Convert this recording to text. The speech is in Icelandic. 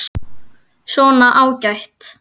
Svona, ágætt.